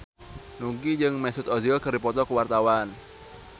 Nugie jeung Mesut Ozil keur dipoto ku wartawan